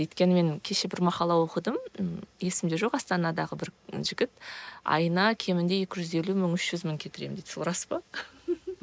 өйткені мен кеше бір мақала оқыдым есімде жоқ астанадағы бір жігіт айына кемінде екі жүз елу мың үш жүз мың кетіремін дейді сол рас па